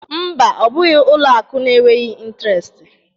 Mba, ọ bụghị ụlọ akụ na-enweghị intiresti